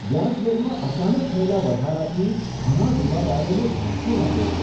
વ્યાજદરમાં અચાનક થયેલા વધારાથી ઘણા દેવાદારોને ધ્રાસ્કો લાગ્યો છે.